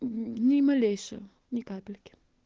ни малейшего ни капельки